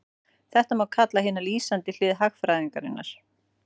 Þetta má kalla hina lýsandi hlið hagfræðinnar.